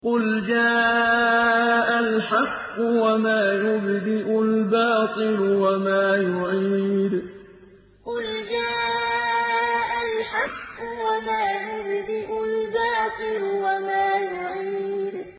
قُلْ جَاءَ الْحَقُّ وَمَا يُبْدِئُ الْبَاطِلُ وَمَا يُعِيدُ قُلْ جَاءَ الْحَقُّ وَمَا يُبْدِئُ الْبَاطِلُ وَمَا يُعِيدُ